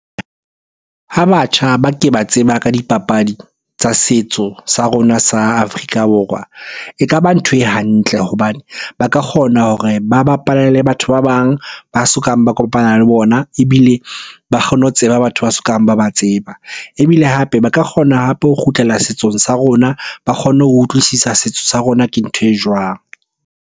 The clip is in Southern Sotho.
Ha batjha ba ke ba tseba ka dipapadi tsa setso sa rona sa Afrika Borwa. E ka ba ntho e hantle hobane ba ka kgona hore ba bapale le batho ba bang ba sokang ba kopana le bona. Ebile ba kgone ho tseba batho ba sokang ba ba tseba. Ebile hape ba ka kgona hape ho kgutlela setsong sa rona, ba kgonne ho utlwisisa setso sa rona ke ntho e jwang?